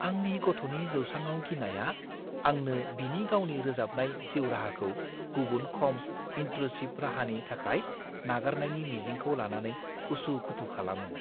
आंनि गथ'नि जौसाङाव गिनाया आंनो बिनि गावनि रोजाबनाय जिउ-राहाखौ गुबुन खम इनट्रुसिभ राहानि थाखाय नागारनायनि मिजिंखौ लानानै उसु-खुथु खालामो।